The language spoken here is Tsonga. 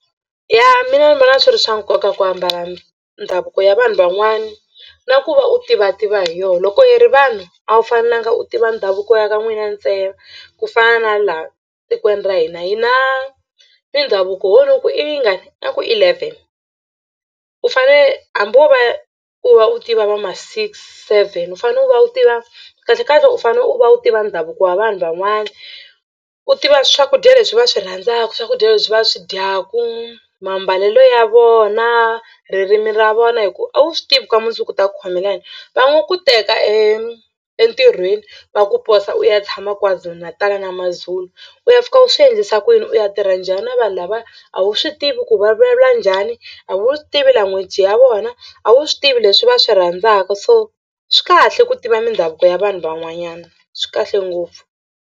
Ya mina ni vona swi ri swa nkoka ku ambala ndhavuko ya vanhu van'wana na ku va u tivativa hi yona. Loko hi ri vanhu a wu fanelanga u tiva ndhavuko ya ka n'wina ntsena ku fana na laha tikweni ra hina hi na mindhavuko ho ni ku i yingani nga ku i eleven u fanele hambi wo va u va u tiva va ma six, seven u fanele u va u tiva kahlekahle u fanele u va u tiva ndhavuko wa vanhu van'wana u tiva swakudya leswi va swi rhandzaka swakudya leswi va swi dyaku mambalelo ya vona ririmi ra vona hikuva a wu swi tivi ka mundzuku u ta ku khomela yini va ngo ku teka e entirhweni va ku posa u ya tshama kwazulu-Natal na mazulu u ya fika u swi endlisa ku yini u ya tirha njhani na vanhu lavaya a wu swi tivi ku vulavula njhani a wu swi tivi language ya vona a wu swi tivi leswi va swi rhandzaka so swi kahle ku tiva mindhavuko ya vanhu van'wanyana swi kahle ngopfu.